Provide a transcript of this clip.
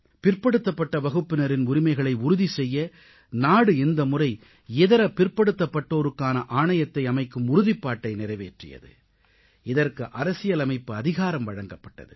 பிற்படுத்தப்பட்ட வகுப்பினரின் உரிமைகளை உறுதி செய்ய நாடு இந்த முறை இதர பிற்படுத்தப்பட்டோருக்கான ஆணையத்தை அமைக்கும் உறுதிப்பாட்டை நிறைவேற்றியது இதற்கு அரசியலமைப்பு அதிகாரம் வழங்கப்பட்டது